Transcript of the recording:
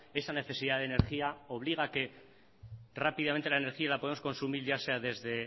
esa necesidad de energía obliga a que rápidamente la energía la podemos consumir ya sea desde